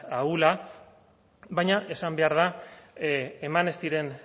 ahula baina esan behar da eman ez diren